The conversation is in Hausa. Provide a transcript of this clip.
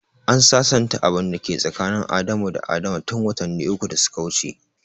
An sasanta abin da ke tsakanin Adamu da Adama tun watanni uku da suka wuce.